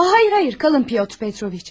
Aa xeyr, xeyr, qalın Petr Petroviç.